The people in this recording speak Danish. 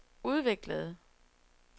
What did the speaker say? udviklede